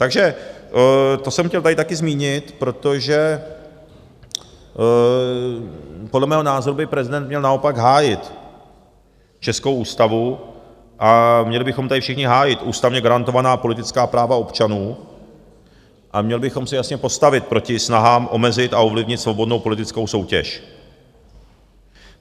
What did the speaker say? Takže to jsem chtěl tady taky zmínit, protože podle mého názoru by prezident měl naopak hájit českou ústavu a měli bychom tady všichni hájit ústavně garantovaná politická práva občanů a měli bychom se jasně postavit proti snahám omezit a ovlivnit svobodnou politickou soutěž.